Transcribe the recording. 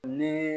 Ni